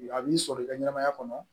A b'i sɔrɔ i ka ɲɛnɛmaya kɔnɔ